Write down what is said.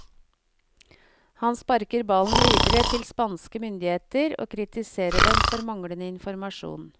Han sparker ballen videre til spanske myndigheter og kritiserer dem for manglende informasjon.